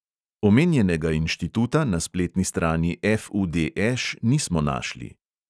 Omenjenega inštituta na spletni strani FUDŠ nismo našli.